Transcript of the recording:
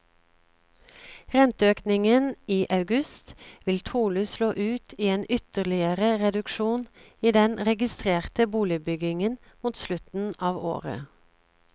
Renteøkningen i august vil trolig slå ut i en ytterligere reduksjon i den registrerte boligbyggingen mot slutten av året.